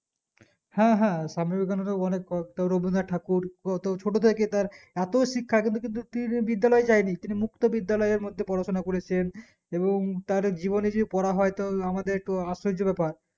হ্যাঁ হ্যাঁ স্বামীবিবেকানন্দ তো অনেক পড়তো রবীন্দ্রনাথ ঠাকুর ছোটো থেকে তার এতো শিক্ষা কিন্তু কি কোনো বিদ্যালয়ে যাই নি তিনি মুক্তো বিদ্যালয়ের মধ্যে পড়াশোনা করেছেন এবং তার জীবনে পড়া হয়তো না হলে একটু আশ্চর্য ব্যাপার